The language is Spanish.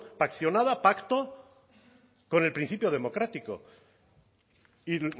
paccionada pacto con el principio democrático y